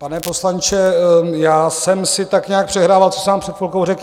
Pane poslanče, já jsem si tak nějak přehrával, co jsem vám před chvilkou řekl.